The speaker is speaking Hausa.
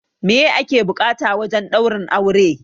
Meye ake buƙata wajen ɗaurin aure?